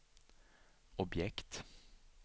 objekt